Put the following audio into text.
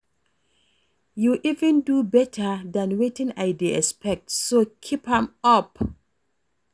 You even do beta dan wetin I dey expect so keep am up